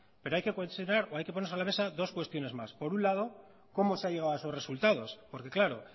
pero hay que considerar o hay que poner sobre la mesa dos cuestiones más por un lado cómo se ha llegado a esos resultados porque claro